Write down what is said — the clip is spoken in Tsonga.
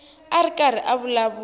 a ri karhi a vulavula